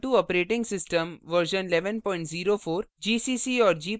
Ubuntu operating system version 1104